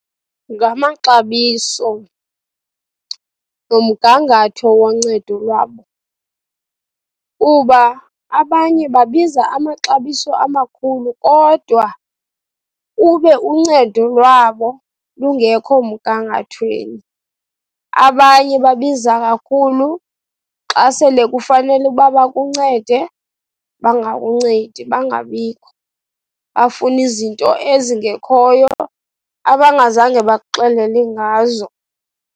Ngamaxabiso nomgangatho woncedo lwabo kuba abanye babiza amaxabiso amakhulu, kodwa ube uncedo lwabo lungekho mgangathweni. Abanye babiza kakhulu xa sele kufanele uba bakuncede, bangakuncedi, bangabikho. Bafune izinto ezingekhoyo, abangazange bakuxelele ngazo.